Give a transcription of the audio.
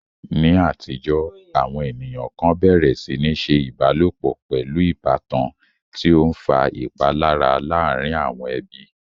Ní àtijọ́, àwọn ènìyàn kan bẹ̀rẹ̀ sí ní ṣe ìbálòpọ̀ pẹ̀lú ìbátan, tí ó ń fa ìpalára láàárín àwọn ẹbí.